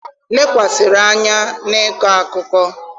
lekwasịrị anya na ịkọ akụkọ.